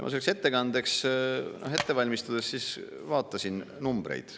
Ma selleks ettekandeks ette valmistades vaatasin numbreid.